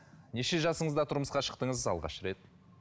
неше жасыңызда тұрмысқа шықтыңыз алғашқы рет